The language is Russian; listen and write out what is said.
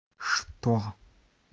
что